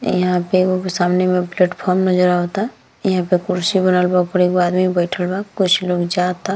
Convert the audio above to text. यहाँ पे एगो के सामने में पलेटफॉर्म नजर आवता यहाँ पे कुर्सी बनल बा ओपर एगो आदमी बइठल बा कुछ लोग जाता |